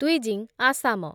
Dwijing, Assam